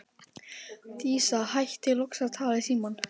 Dísa hættir loks að tala í símann.